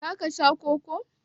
za ka Sha Koko?